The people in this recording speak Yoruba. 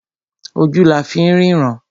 Ojú la fín rínran.